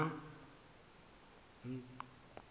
mna